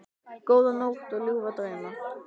Góða nótt og ljúfa drauma.